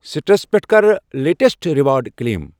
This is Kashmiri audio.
سِٹرس پٮ۪ٹھٕ کَر لیٹیسٹ ریوارڑ کٕلیم۔